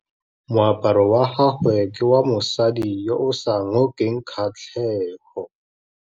Moaparô wa gagwe ke wa mosadi yo o sa ngôkeng kgatlhegô.